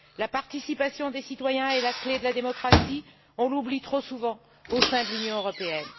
La participation des citoyens est la clé de la démocratie, nous l'oublions trop souvent au sein de l'Union européenne.